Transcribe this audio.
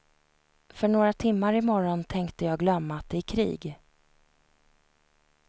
För några timmar i morgon tänkte jag glömma att det är krig.